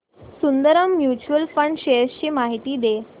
Sundaram mutual fund shares ची माहिती दे